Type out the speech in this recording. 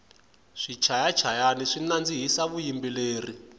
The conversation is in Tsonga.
swichaya chayani swi nandzihisa vuyimbeleri